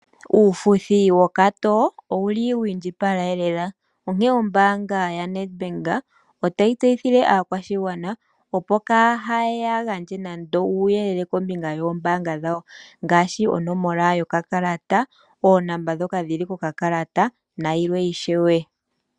Uufuthi wokatoo owuli wiindjipala lela. Onkene ombaanga yaNedbank otayi tseyithile aakwashigwana opo kaaya gandje nande uuyelele kombinga yoombaanga dhawo. Ngaashi onomola yokakalata, oonomola ndhoka dhili kokakalata nayilwe ishewe.